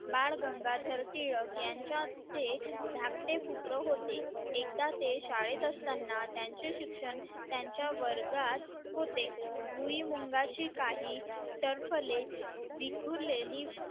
बाळ गंगाधर टिळक यांच्या ते काटे पुत्र होते एकदा ते शाळेत असताना त्यांचे शिक्षण त्यांच्या वर्गात होते भुईमुगाची काहे टरफले विखुरलेली